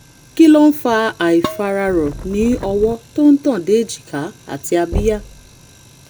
kí ló ń fa àìfararọ̀ ní ọwọ́ tó ń tàn dé èjìká àti abíyá?